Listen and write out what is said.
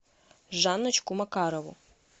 жанночку макарову